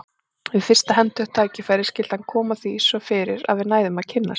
Við fyrsta hentugt tækifæri skyldi hann koma því svo fyrir að við næðum að kynnast.